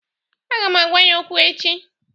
Aga m agwa ya okwu echi.